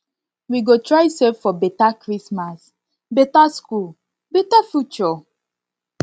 we go try save for beta christmas beta school beta future